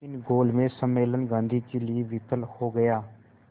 लेकिन गोलमेज सम्मेलन गांधी के लिए विफल हो गया